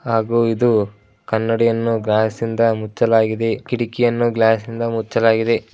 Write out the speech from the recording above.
ಹಾಗು ಇದು ಕನ್ನಡಿ ಯನ್ನು ಗ್ಲಾಸ್ ಇಂದಮುಚ್ಲಾಗಿದೆ ಕಿಡಿಕಿ ಯನ್ನು ಗ್ಲಾಸ್ ಇಂದ ಮುಚ್ಚಲಾಗಿದೆ.